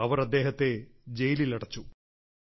അവർ അദ്ദേഹത്തെ ജയിലിലടച്ചു